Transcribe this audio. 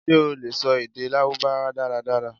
ṣe o le sọ ede Larubawa daradara?